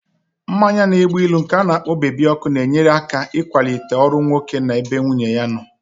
Mmanya na-egbu ilu nke ana-kpo bebi ọkụ na-enyere aka ịkwalite ọrụ nwoke na-ebe nwunye ya nọ